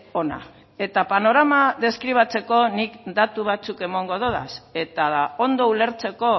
ona eta panorama deskribatzeko nik datu batzuk emango dodaz eta ondo ulertzeko